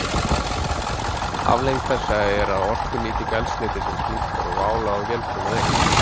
Afleiðing þessa er að orkunýting eldsneytisins minnkar og álag á vélbúnað eykst.